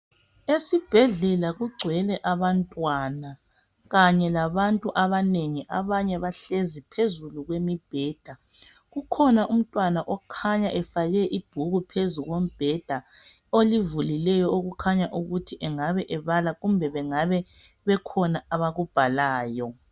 Esibhedlela kugcwele abantwana kanye labantu abanengi abanye bahlezi phezulu kwemibheda. Kukhona umntwana okhanya efake ibhuku phezu kombheda olivulileyo okukhanya ukuthi engabe ebala kumbe bengabe bekhona abakubhalayo.